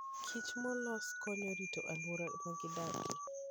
Kich molos konyo e rito alwora ma gidakie.